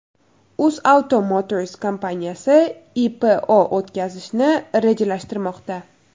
UzAuto Motors kompaniyasi IPO o‘tkazishni rejalashtirmoqda.